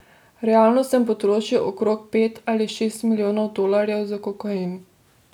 Realno sem potrošil okrog pet ali šest milijonov dolarjev za kokain.